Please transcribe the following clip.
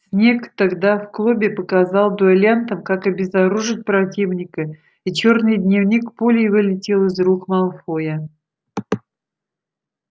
снегг тогда в клубе показал дуэлянтам как обезоружить противника и чёрный дневник пулей вылетел из рук малфоя